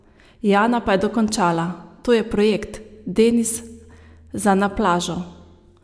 Jana pa je dokončala: "To je projekt, Denis za na plažo.